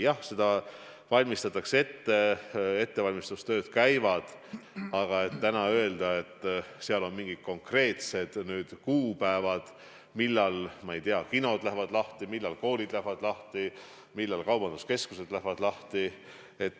Jah, seda valmistatakse ette, ettevalmistustööd käivad, aga täna öelda, et on mingid konkreetsed kuupäevad, millal, ma ei tea, kinod lähevad lahti, millal koolid lähevad lahti, millal kaubanduskeskused lähevad lahti, ei saa.